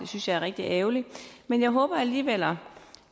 synes jeg er rigtig ærgerligt men jeg håber alligevel og